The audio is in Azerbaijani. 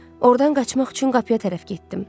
Ordan qaçmaq üçün qapıya tərəf getdim.